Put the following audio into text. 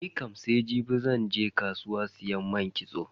Nikam sai jibi zan je kasuwa siyo man kitso.